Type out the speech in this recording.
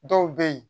Dɔw bɛ yen